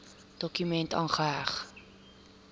dokument aangeheg